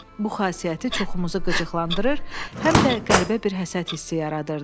Bu xasiyyəti çoxumuzu qıcıqlandırır, həm də qəribə bir həsəd hissi yaradırdı.